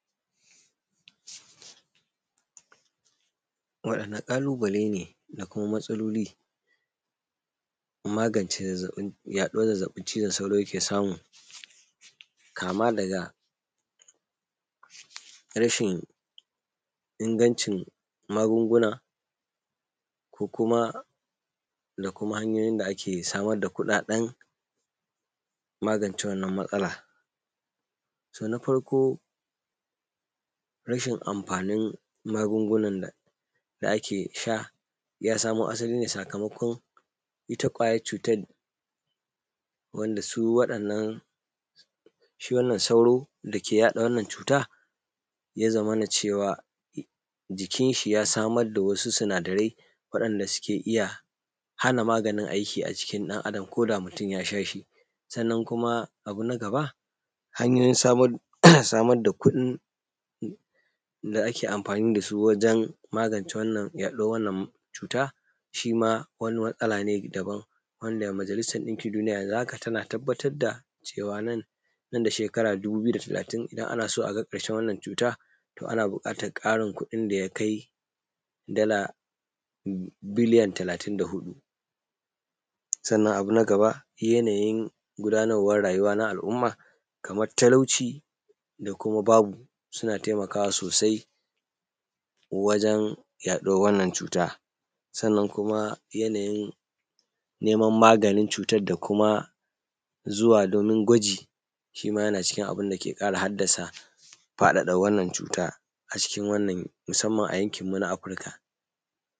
Waɗane ƙalubale ne da kuma matsaloli don magance yaɗuwar zazzaɓin cizon sauro da yake samu? Kama daga rashin ingancin magunguna, ko kuma da kuma hanyoyin da ake samar da kuɗaɗen magance wannan matsalar? Na farko rashin amfanin magungunan da ake sha ya samo asali ne sakamakon ita ƙwayar cutar wanda su waɗannan sauro da ke yaɗa wannnan cutar ya zamana cewa jikin shi ya samar da wasu sinadarai waɗanda suke iya hana maganin aiki a jikin ɗan Adam koda mutum ya sha shi. Sannan kuma abu na gaba hanyoyin samar da kuɗi da ake amfani da su wajen magance wannan yaɗuwar cuta. Shima wani matsala ne daban wanda majalisar ɗinkin duniya yanzu haka tana tabbatar da cewa nan da shekara dubu biyu da talatin, ana so a ga ƙarshen wannan cuta. To ana buƙatar ƙarin kuɗin da ya kai dala biliyan talatin da hudu. Sannan abu na gaba yanayin gudanarwar rayuwa na al’umma kamar talauci, da kuma babu suna taimakawa sosai wajen yaɗuwar wannan cuta. Sannan kuma yanayin neman maganin cutan da kuma zuwa domin gwaji, shima yana cikin abinda ke ƙara haddasa faɗaɗa wannan cutar musamman a yankin mu na Afirika.